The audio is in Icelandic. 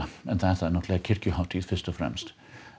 það er náttúrulega kirkjuhátíð fyrst og fremst